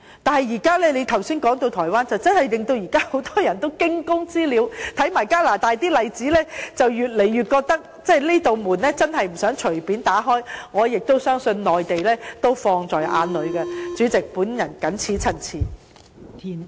但是，你剛才提到台灣，實在令很多人有如驚弓之鳥，再看看加拿大的例子，便越發令人覺得不想隨便打開這扇門，而我亦相信內地也注視這事......代理主席，我謹此陳辭。